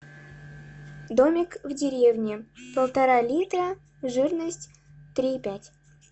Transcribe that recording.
домик в деревне полтора литра жирность три и пять